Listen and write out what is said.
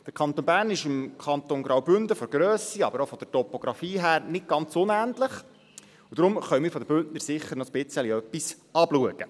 Der Kanton Bern ist dem Kanton Graubünden von der Grösse, aber auch von der Topografie her nicht ganz unähnlich, und deshalb können wir den Bündnern bestimmt noch ein bisschen etwas abschauen.